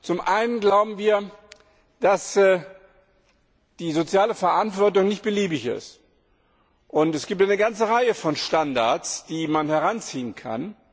Zum einen glauben wir, dass die soziale Verantwortung nicht beliebig ist. Es gibt eine ganze Reihe von Standards, die man heranziehen kann.